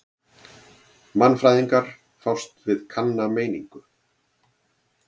Mannfræðingar fást við kanna menningu.